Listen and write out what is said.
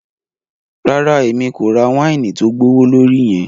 Rara, Èmí ko rà waini tó gbowolori yẹn